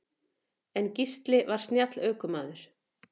En Gísli var snjall ökumaður.